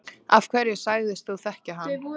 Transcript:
Af hverju sagðist þú þekkja hann?